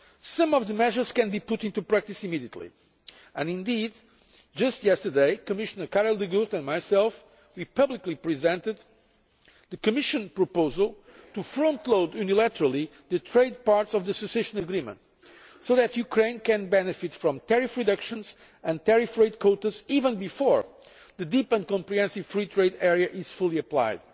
Some of the measures can be put into practice immediately. Indeed, just yesterday, Commissioner De Gucht and I publicly presented the Commission proposal to frontload unilaterally the trade parts of the Association Agreement, so that Ukraine can benefit from tariff reductions and tariff rate quotas even before the Deep and Comprehensive Free Trade Area is fully applied.